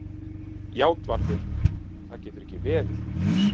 JÁTVARÐUR: Það getur ekki verið.